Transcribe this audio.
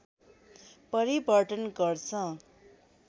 परिवर्तन गर्छ